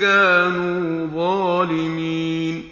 كَانُوا ظَالِمِينَ